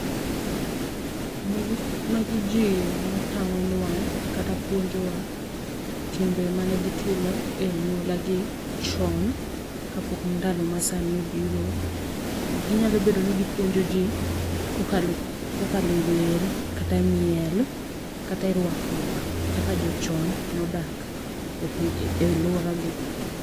Magi magi Ji ma tang'onwa kata puonjowa timbe mane gitimo e anyuola gi, chon kapok ndalo masani obiro. Ginyalo bedo ni gipuonjo ji kokalo kokalo e wer, kata e miel, kata e rwakruok, kaka jo chon nodak e piny e alwora gi.